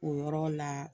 O yɔrɔ la